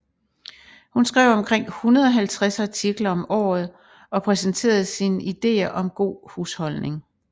Hun skrev omkring 150 artikler om året og præsenterede sine ideer om god husholdning